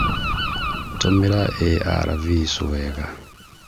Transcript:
Tũmĩra Arvs wega